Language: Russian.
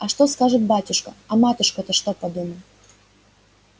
а что скажет батюшка а матушка-то что подумай